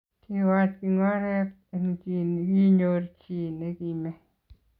Kiwach kingoret eng chi nikinyor chi nikimee